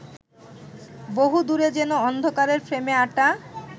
বহুদূরে যেন অন্ধকারের ফ্রেমে আঁটা